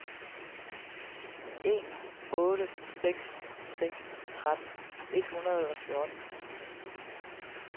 en otte seks seks tretten et hundrede og fjorten